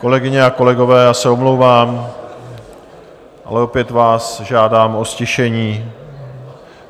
Kolegyně a kolegové, já se omlouvám, ale opět vás žádám o ztišení.